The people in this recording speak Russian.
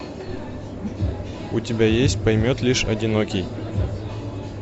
у тебя есть поймет лишь одинокий